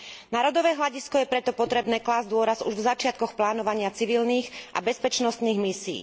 Na rodové hľadisko je preto potrebné klásť dôraz už v začiatkoch plánovania civilných a bezpečnostných misií.